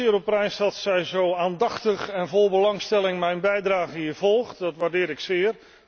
Ik stel het zeer op prijs dat zij zo aandachtig en vol belangstelling mijn bijdrage hier volgt. Dat waardeer ik zeer.